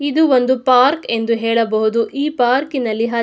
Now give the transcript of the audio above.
ಇದು ಒಂನೆಂದು ಪಾರ್ಕ್ ಎಂದು ಹೇಳಬಹುದು. ಈ ಪಾರ್ಕಿನಲ್ಲಿ --